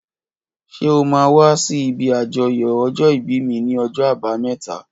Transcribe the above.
Ṣé ó mà wà si ibi ájọyọ̀ ọjọ ibi mi ni ọjọ àbàámẹ̀tá?